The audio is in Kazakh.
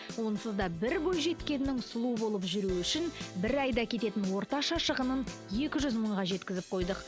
онсыз да бір бойжеткеннің сұлу болып жүруі үшін бір айда кететін орташа шығынын екі жүз мыңға жеткізіп қойдық